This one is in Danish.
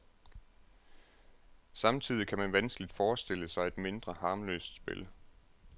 Samtidig kan man vanskeligt forestille sig et mindre harmløst spil.